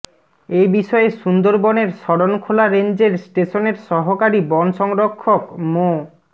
এ বিষয়ে সুন্দরবনের শরণখোলা রেঞ্জের স্টেশনের সহকারী বন সংরক্ষক মো